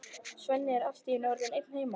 Svenni er allt í einu orðinn einn heima!